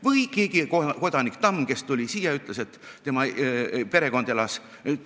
Või keegi kodanik Tamm, kes tuli Eestisse ja ütles, et tema perekond elas Kongutas – rõhk oli u-tähel.